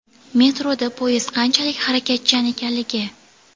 Metroda poyezd qanchalik harakatchan ekanligi.